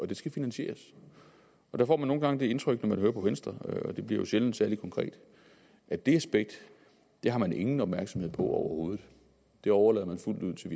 det skal finansieres og der får man nogle gange det indtryk når man hører på venstre og det bliver jo sjældent særlig konkret at det aspekt har man ingen opmærksomhed på overhovedet det overlader man fuldt ud til